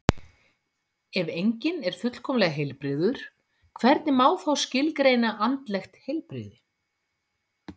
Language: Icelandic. Ef enginn er fullkomlega heilbrigður, hvernig má þá skilgreina andlegt heilbrigði?